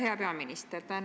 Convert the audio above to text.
Hea peaminister!